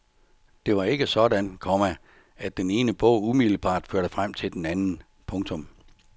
Det var ikke sådan, komma at den ene bog umiddelbart førte frem til den anden. punktum